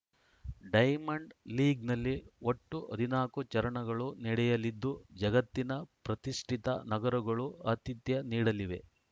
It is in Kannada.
ಡೈಮಂಡ್‌ ಲೀಗ್‌ನಲ್ಲಿ ಒಟ್ಟು ಹದಿನಾಲ್ಕು ಚರಣಗಳು ನಡೆಯಲಿದ್ದು ಜಗತ್ತಿನ ಪ್ರತಿಷ್ಠಿತ ನಗರಗಳು ಆತಿಥ್ಯ ನೀಡಲಿವೆ